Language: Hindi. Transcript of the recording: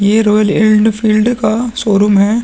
यह रॉयल एनफील्ड का शोरूम है।